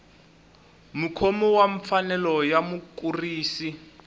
mukhomi wa mfanelo ya mukurisi